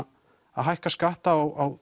hækka skatta á